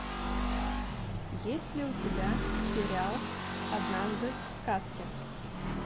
есть ли у тебя сериал однажды в сказке